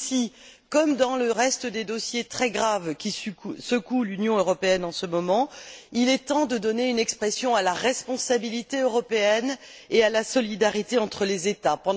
Ici, comme dans les autres questions très graves qui secouent l'Union européenne en ce moment, il est temps de donner une expression à la responsabilité européenne et à la solidarité entre les États.